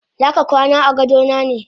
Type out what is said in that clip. Zaka kwana agadona ne?